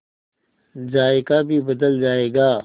जायका भी बदल जाएगा